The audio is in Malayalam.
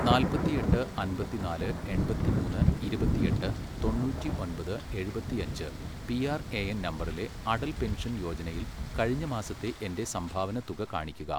നാല്പത്തിയെട്ട് അൻപത്തിനാല് എൺപത്തിമൂന്ന് ഇരുപത്തിയെട്ട് തൊണ്ണൂറ്റി ഒൻപത് എഴുപത്തിയഞ്ച് പി ആർ എ എൻ നമ്പറിലെ അടൽ പെൻഷൻ യോജനയിൽ കഴിഞ്ഞ മാസത്തെ എൻ്റെ സംഭാവന തുക കാണിക്കുക.